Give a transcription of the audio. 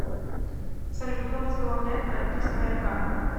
салют кто возглавляет правительство рк